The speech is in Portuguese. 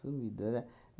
Sumido, né?